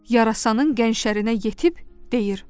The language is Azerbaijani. Yarasanın gənc şerinə yetib deyir: